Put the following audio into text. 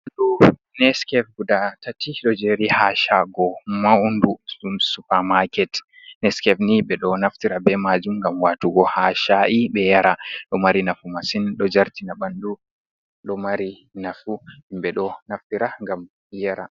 Ɗo neskef guda tati do jeri ha shago maudu ɗum supermarket, neskef ni ɓe ɗo naftira bei majum ngam watugo ha sha’i ɓe yara, ɗo mari nafu masin ɗo jartina ɓandu ɗo mari nafu himɓe ɗo naftira ngam iyara.